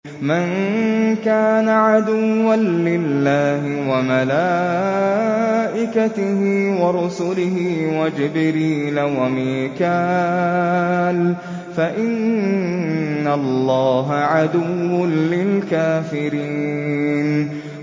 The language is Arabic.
مَن كَانَ عَدُوًّا لِّلَّهِ وَمَلَائِكَتِهِ وَرُسُلِهِ وَجِبْرِيلَ وَمِيكَالَ فَإِنَّ اللَّهَ عَدُوٌّ لِّلْكَافِرِينَ